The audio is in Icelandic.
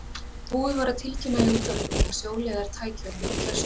Búið var að tilkynna í útvarpinu að sjóliðar tækju á móti gestum.